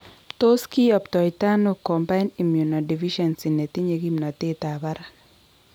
Tos kiyoptoitano combined immunodeficiency netinye kimnotet ab barak?